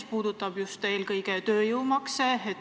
See puudutab just eelkõige tööjõumakse.